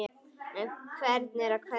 Fyrir hvern eða hverja?